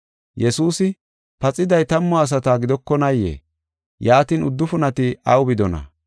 Yesuusi, “Paxiday tammu asata gidokonaayee? Yaatin, uddufunati aw bidonaa?